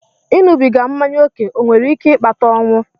Ịṅụbiga mmanya ókè ọ nwere ike ịkpata ọnwụ?